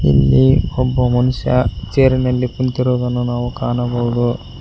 ಇಲ್ಲಿ ಒಬ್ಬ ಮನುಷ್ಯ ಚೇರಿನಲ್ಲಿ ಕುಂತಿರುವುದನ್ನು ನಾವು ಕಾಣಬಹುದು.